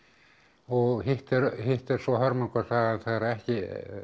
og hitt er hitt er svo hörmungarsagan þegar ekki